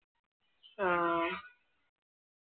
ആഹ്